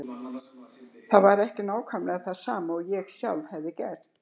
Var það ekki nákvæmlega það sama og ég sjálf hafði gert?